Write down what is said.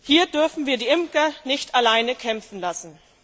Hier dürfen wir die Imker nicht alleine kämpfen lassen.